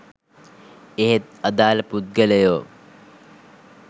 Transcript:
එහෙත් අදාළ පුද්ගලයෝ